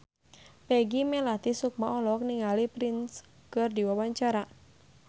Peggy Melati Sukma olohok ningali Prince keur diwawancara